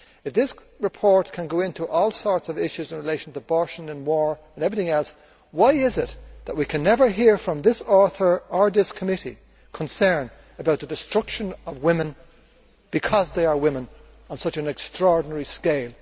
If this report can go into all sorts of issues in relation to abortion and war and everything else, why is it that we can never hear from this author or this committee any concern about the destruction of women because they are women on such an extraordinary scale?